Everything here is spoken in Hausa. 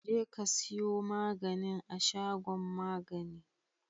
jekasiyo maganin a shagon magani